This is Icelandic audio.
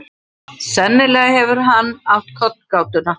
Sennilega hefur hann átt kollgátuna.